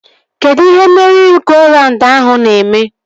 Kedụ ihe meri-go-raund ahụ na-eme?